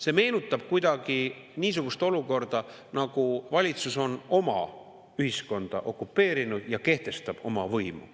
See meenutab kuidagi niisugust olukorda, nagu valitsus oleks oma ühiskonna okupeerinud ja kehtestab oma võimu.